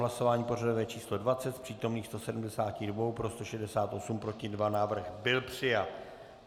Hlasování pořadové číslo 20, z přítomných 172 pro 168, proti 2, návrh byl přijat.